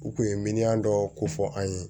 U kun ye miliyɔn dɔ ko fɔ an ye